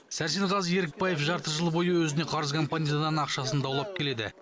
сәрсенғазы ерікбаев жарты жыл бойы өзіне қарыз компаниядан ақшасын даулап келеді